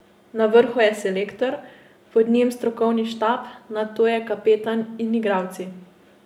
Na vrhu je selektor, pod njim strokovni štab, nato je kapetan in igralci.